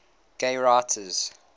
gay writers